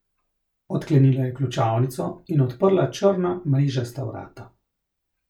Odklenila je ključavnico in odprla črna mrežasta vrata.